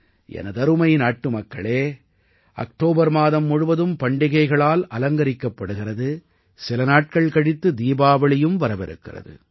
எனதருமை நாட்டுமக்களே அக்டோபர் மாதம் முழுவதும் பண்டிகைகளால் அலங்கரிக்கபடுகிறது சில நாட்கள் கழித்து தீபாவளியும் வரவிருக்கிறது